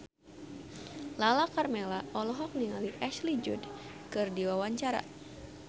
Lala Karmela olohok ningali Ashley Judd keur diwawancara